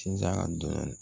Sinzan dɔɔnin